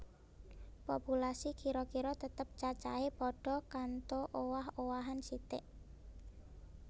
Populasi kira kira tetep cacahé padha kantho owah owahan sithik